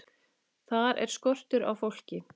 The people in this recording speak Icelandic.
Þar er skortur á fólki.